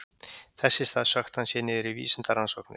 Þess í stað sökkti hann sér niður í vísindarannsóknir.